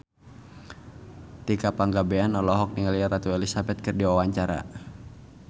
Tika Pangabean olohok ningali Ratu Elizabeth keur diwawancara